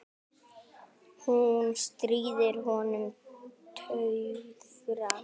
Hún stríðir honum tuðran.